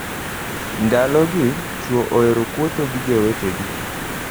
Ndalogi, chwo ohero kwotho gi jowetegi.